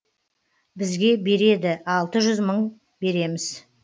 бізге береді алты жүз мың береміз